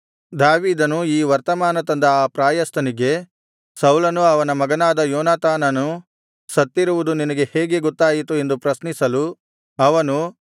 ದಾವೀದನು ಈ ವರ್ತಮಾನ ತಂದ ಆ ಪ್ರಾಯಸ್ಥನಿಗೆ ಸೌಲನೂ ಅವನ ಮಗನಾದ ಯೋನಾತಾನನೂ ಸತ್ತಿರುವುದು ನಿನಗೆ ಹೇಗೆ ಗೊತ್ತಾಯಿತು ಎಂದು ಪ್ರಶ್ನಿಸಲು ಅವನು